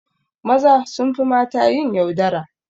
Maza sunfi mata yin yaudara